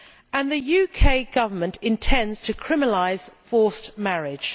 And the UK Government intends to criminalise forced marriage.